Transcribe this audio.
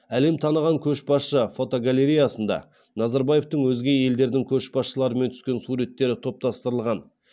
әлем таныған көшбасшы фотогалереясында назарбаевтың өзге елдердің көшбасшыларымен түскен суреттері топтастырылған